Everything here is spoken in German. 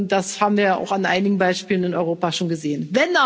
Das haben wir auch an einigen Beispielen in Europa schon gesehen.